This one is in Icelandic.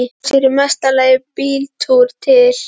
Fá sér í mesta lagi bíltúr til